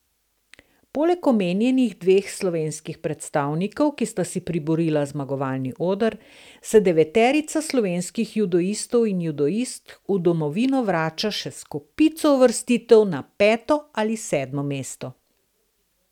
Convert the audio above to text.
Poleg omenjenih dveh slovenskih predstavnikov, ki sta si priborila zmagovalni oder, se deveterica slovenskih judoistov in judoistk v domovino vrača še s kopico uvrstitev na peto ali sedmo mesto.